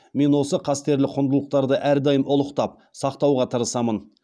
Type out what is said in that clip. мен осы қастерлі құндылықтарды әрдайым ұлықтап сақтауға тырыстым